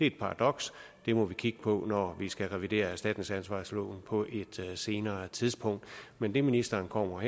et paradoks det må vi kigge på når vi skal revidere erstatningsansvarsloven på et senere tidspunkt men det ministeren kommer